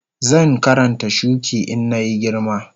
Zan Karanta shuki in na yi girma